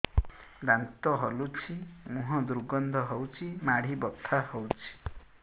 ଦାନ୍ତ ହଲୁଛି ମୁହଁ ଦୁର୍ଗନ୍ଧ ହଉଚି ମାଢି ବଥା ହଉଚି